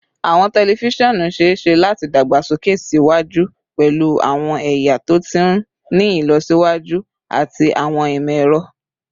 Awọn tẹlifisiọnu ṣee ṣe lati dagbasoke siwaju pẹlu awọn ẹya to ti ni ilọsiwaju ati awọn imọ-ẹrọ